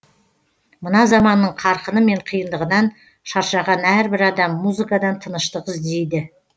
мына заманның қарқыны мен қиындығынан шаршаған әрбір адам музыкадан тыныштық іздейді